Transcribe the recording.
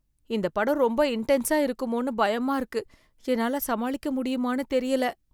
இந்த படம் ரொம்ப இன்டென்ஸா இருக்குமோனு பயமா இருக்கு, என்னால சமாளிக்க முடியுமானு தெரியல.